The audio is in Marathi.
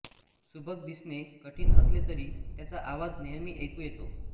सुभग दिसणे कठीण असले तरी त्याचा आवाज नेहमी ऐकू येतो